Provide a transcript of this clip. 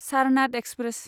Sarnath express